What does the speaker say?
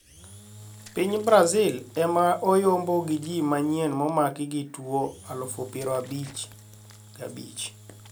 Piny Brazil ema ne oyombo gi ji manyien momaki gi tuo aluf piero abich gabich